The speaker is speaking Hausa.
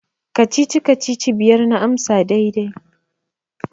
Kacici-kacici biyar na amsa daidai.